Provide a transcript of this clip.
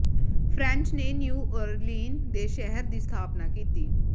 French ਨੇ New Orleans ਦੇ ਸ਼ਹਿਰ ਦੀ ਸਥਾਪਨਾ ਕੀਤੀ